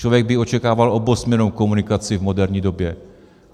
Člověk by očekával obousměrnou komunikaci v moderní době.